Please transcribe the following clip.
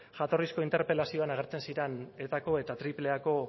jatorrizko interpelazioan agertzen ziren etako eta triple a ko